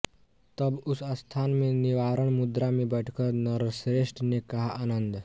तब उस स्थान में निर्वाण मुद्रा में बैठकर नरश्रेष्ठ ने कहा आनन्द